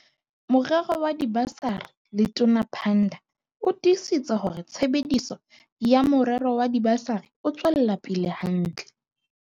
Morero wa dibasari Letona Pandor o tiisitse hore tshebediso ya morero wa diba sari e tswela pele hantle.